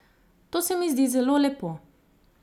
To se mi zdi zelo lepo.